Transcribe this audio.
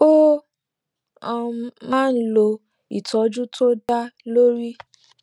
ó um máa ń lo ìtójú tó dá lórí